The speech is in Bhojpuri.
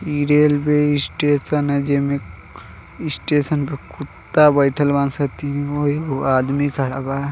ई रेलवे स्टेशन है जेमें स्टेशन पे कुत्ता बइठल बाड़ा सन तीन गो एगो आदमी खड़ा बा।